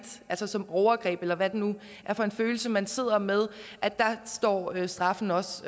altså som overgreb eller hvad det nu er for en følelse man sidder med står straffen også